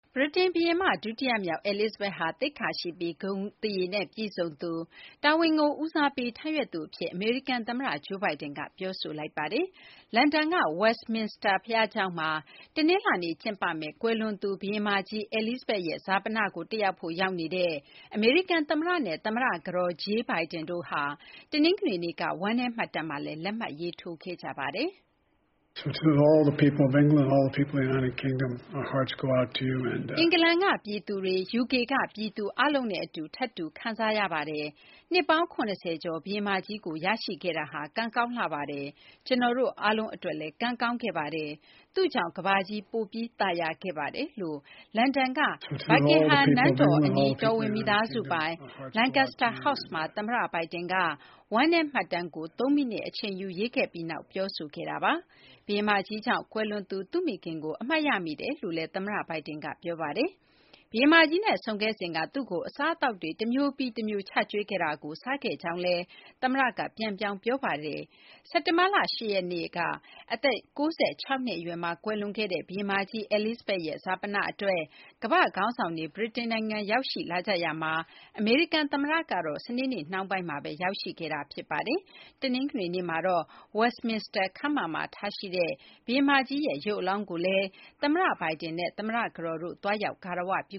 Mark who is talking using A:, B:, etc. A: ဗြိတိန် ဘုရင်မ ဒုတိယမြောက် Elizabeth ဟာ သိက္ခာရှိပြီး၊ ဂုဏ်သရေနဲ့ ပြည့်စုံသူ၊ တာဝန်ကို ဦးစားပေးထမ်းရွက်သူ အဖြစ် အမေရိကန် သမ္မတ Joe Biden ကပြောဆိုလိုက်ပါတယ်။ လန်ဒန်က Westminster ဘုရားကျောင်းမှာ တနလာၤနေ့ ကျင်းပမယ့် ကွယ်လွန်သူ ဘုရင်မကြီး Elizabeth ရဲ့ ဈာပနကို တက်ရောက်ဖို့ ရောက်နေတဲ့ အမေရိကန် သမ္မတနဲ့ သမ္မတ ကတော် Jill Biden တို့ဟာ တနင်္ဂနွေနေ့က ဝမ်းနည်းမှတ်တမ်းမှာလည်း လက်မှတ်ရေးထိုးခဲ့ကြပါတယ်။
B: “အင်္ဂ
A: လန်က ပြည်သူတွေ၊ UK ကပြည်သူ အားလုံးနဲ့ အတူ ထပ်တူ ခံစားရပါတယ်။ နှစ်ပေါင်း ၇၀ ကျော် ဘုရင်မကြီးကို ရရှိခဲ့တာဟာ ကံကောင်းလှပါတယ်။ ကျနော်တို့ အားလုံးအတွက်လည်း ကံကောင်းခဲ့ပါတယ်။ သူ့ကြောင့် ကမ္ဘာကြီး ပိုမိုသာယာခဲ့ရပါတယ်” လို့ လန်ဒန်က Buckingham နန်းတော်အနီး တော်ဝင်မိသားစုပိုင် Lancaster House မှာ သမ္မတ Biden က ဝမ်းနည်းမှတ်တမ်းကို သုံးမိနစ်အချိန်ယူ ရေးခဲ့ပြီးနောက်မှာ ပြောဆိုခဲ့တာပါ။ ဘုရင်မကြီးကြောင့် ကွယ်လွန်သူ သူ့မိခင်ကို အမှတ်ရမိတယ်လို့လည်း သမ္မတ Biden က ပြောပါတယ်။ ဘုရင်မကြီးနဲ့ ဆုံခဲ့စဉ်က သူ့ကို အစားအသောက်တွေ တမျိုးပြီးတမျိုး ချကြွေးခဲ့တာကို စားခဲ့တဲ့အကြောင်းကိုလည်း သမ္မတက ပြန်ပြောင်း ပြောဆိုခဲ့တာပါ။ စက်တင်ဘာလ ၈ ရက်နေ့က အသက် ၉၆ နှစ် အရွယ်မှာ ကွယ်လွန်ခဲ့တဲ့ ဘုရင်မကြီး Elizabeth ရဲ့ ဈာပနအတွက် ကမ္ဘာ့ခေါင်းဆောင်တွေ ဗြိတိန်နိုင်ငံ ရောက်ရှိလာကြရာမှာ အမေရိကန်သမ္မတကတော့ စနေနေ့နှောင်းပိုင်းမှာပဲ ရောက်ရှိခဲ့တာ ဖြစ်ပါတယ်။ တနင်္ဂနွေနေ့မှာတော့ Westminster ခမ်းမမှာ ထားရှိတဲ့ ဘုရင်မကြီးရဲ့ ရုပ်အလောင်းကိုလည်း သမ္မတဘိုင်ဒင်နဲ့ သမ္မတကတော်တို့ သွားရောက် ဂါရဝပြု